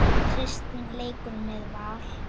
Kristín leikur með Val.